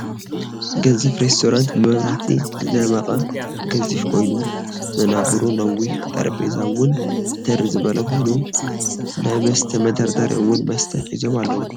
ገዚፍ ሪስቶራንት ብመብራህቲ ዝደመቀ ገዚፍ ኮይኑ ወናብሩ ነዊሕ ጠረጼዛውን ተር ዝበለ ኮይኒ ናይ መስተ መደርደሪ እውን መስተ ሒዞም ኣለዉ ።